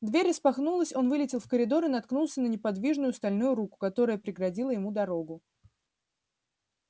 дверь распахнулась он вылетел в коридор и наткнулся на неподвижную стальную руку которая преградила ему дорогу